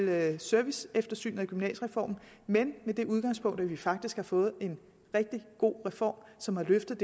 med serviceeftersynet af gymnasiereformen men med det udgangspunkt at vi faktisk har fået en rigtig god reform som har løftet